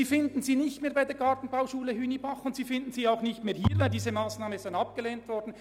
Diese findet man nicht mehr bei der Gartenbauschule Hünibach und auch nicht hier, weil diese Massnahme abgelehnt wurde.